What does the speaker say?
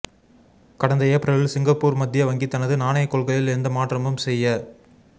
கடந்த ஏப்ரலில் சிங்கப்பூர் மத்திய வங்கி தனது நாணயக் கொள்கையில் எந்த மாற்றமும் செய்ய